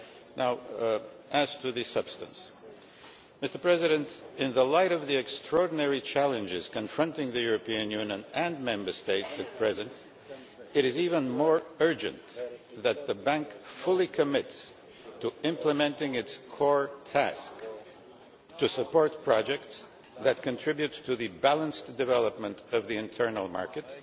Now as to the substance, in the light of the extraordinary challenges confronting the European Union and Member States at present, it is even more urgent that the Bank fully commits to implementing its core task to support projects that contribute to the balanced development of the internal market